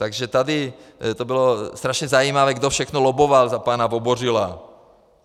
Takže tady to bylo strašně zajímavé, kdo všechno lobboval za pana Vobořila.